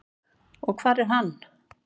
Og hvar er hann?